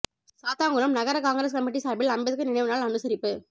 சாத்தான்குளம் நகர Congress committee சார்பில் அம்பேத்கர் நினைவு நாள் அனுசரிப்பு